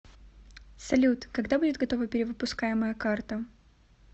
салют когда будет готова перевыпускаемая карта